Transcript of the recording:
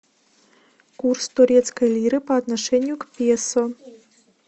курс турецкой лиры по отношению к песо